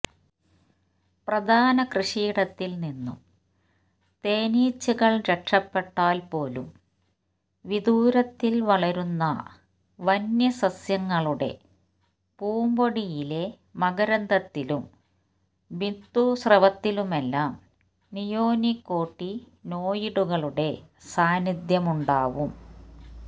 പ്രധാന കൃഷിയിടത്തില് നിന്നും തേനീച്ചകള് രക്ഷപെട്ടാല് പോലും വീദൂരത്തില് വളരുന്ന വന്യസസ്യങ്ങളുടെ പൂമ്പൊടിയിലെ മകരന്ദത്തിലും ബിന്ദുസ്രവത്തിലുമെല്ലാം നിയോനിക്കോട്ടിനോയിഡുകളുടെ സാന്നിധ്യമുണ്ടാവും